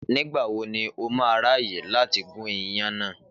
Nígbà wo ni ó má a ráàyè láti gún iyan náà.